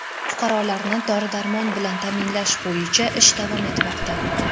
Fuqarolarni dori-darmon bilan ta’minlash bo‘yicha ish davom etmoqda.